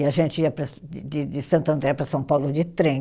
E a gente ia para, de de de Santo André para São Paulo de trem.